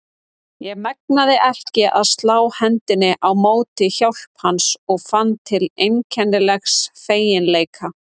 Ég megnaði ekki að slá hendinni á móti hjálp hans og fann til einkennilegs feginleika.